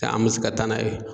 an man se ka taa n'a ye.